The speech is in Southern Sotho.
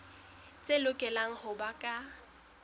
tse lokelang ho ba ka